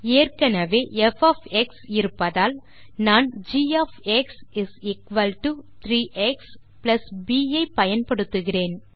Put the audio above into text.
ஏற்கெனெவே ப் இருப்பதால் நான் g 3 எக்ஸ் ப் ஐ பயன்படுத்துகிறேன்